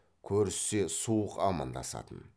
көріссе суық амандасатын